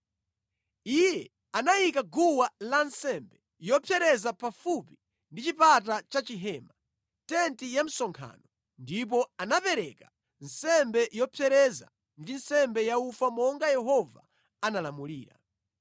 Iye anayika guwa lansembe yopsereza pafupi ndi chipata cha chihema, tenti ya msonkhano, ndipo anapereka nsembe yopsereza ndi nsembe ya ufa monga Yehova anamulamulira.